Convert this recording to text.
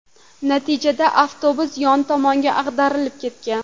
Natijada avtobus yon tomonga ag‘darilib ketgan.